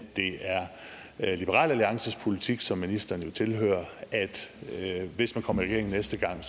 det er liberal alliances politik som ministeren jo tilhører at hvis man kommer i regering næste gang